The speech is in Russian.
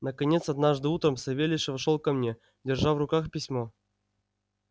наконец однажды утром савельич вошёл ко мне держа в руках письмо